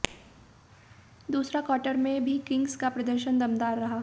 दूसरा क्वार्टर में भी किंग्स का प्रदर्शन दमदार रहा